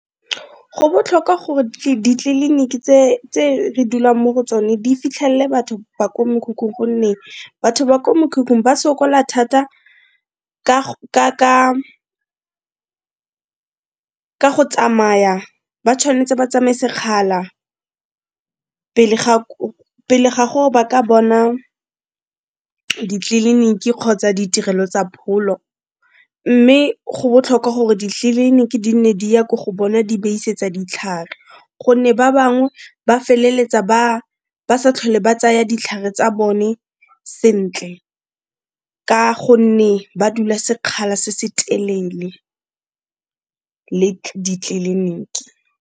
Go botlhokwa gore ditleliniki tse re dulang mo go tsone di fitlhelle batho ba ko mokhukhung gonne batho ba ko mokhukhung ba sokola thata ka go tsamaya. Ba tshwan'tse ba tsamaye sekgala pele ga gore ba ka bona ditleliniki kgotsa ditirelo tsa pholo, mme go botlhokwa gore ditleliniki di nne di ya ko go bona di ba isetsa ditlhare, gonne ba bangwe ba feleletsa ba sa tlhole ba tsaya ditlhare tsa bone sentle ka gonne ba dula sekgala se se telele le ditleliniki.